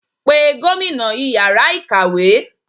pè gómìnà ìyára ikáwe!